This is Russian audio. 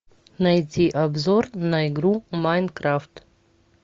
найти обзор на игру майнкрафт